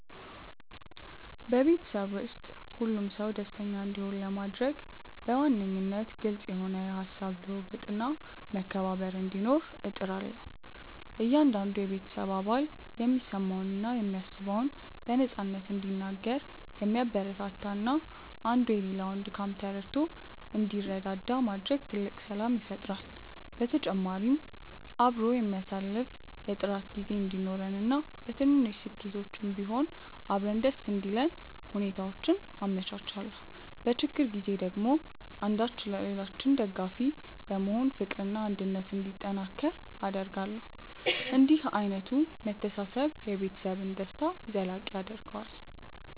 በቤተሰቤ ውስጥ ሁሉም ሰው ደስተኛ እንዲሆን ለማድረግ በዋነኝነት ግልጽ የሆነ የሃሳብ ልውውጥና መከባበር እንዲኖር እጥራለሁ። እያንዳንዱ የቤተሰብ አባል የሚሰማውንና የሚያስበውን በነፃነት እንዲናገር ማበረታታትና አንዱ የሌላውን ድካም ተረድቶ እንዲረዳዳ ማድረግ ትልቅ ሰላም ይፈጥራል። በተጨማሪም አብሮ የሚያሳልፍ የጥራት ጊዜ እንዲኖረንና በትንንሽ ስኬቶችም ቢሆን አብረን ደስ እንዲለን ሁኔታዎችን አመቻቻለሁ። በችግር ጊዜ ደግሞ አንዳችን ለሌላችን ደጋፊ በመሆን ፍቅርና አንድነት እንዲጠናከር አደርጋለሁ። እንዲህ ዓይነቱ መተሳሰብ የቤተሰብን ደስታ ዘላቂ ያደርገዋል።